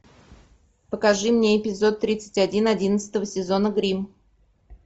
покажи мне эпизод тридцать один одиннадцатого сезона гримм